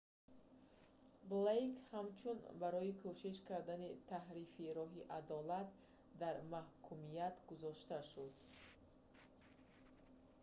блейк ҳамчунин барои кӯшиш кардани таҳрифи роҳи адолат дар маҳкумият гузошта шуд